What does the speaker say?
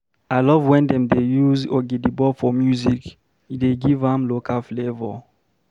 I love wen dem use ogidigbo for music, e dey give am local flavour.